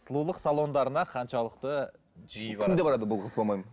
сұлулық салондарына қаншалықты жиі күнде барады бұл қыз по моему